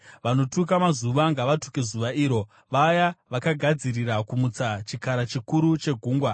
Vanotuka mazuva ngavatuke zuva iro, vaya vakagadzirira kumutsa Chikara Chikuru cheGungwa.